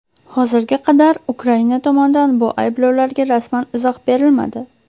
Hozirga qadar Ukraina tomondan bu ayblovlarga rasman izoh berilmadi.